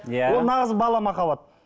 иә ол нағыз бала махаббат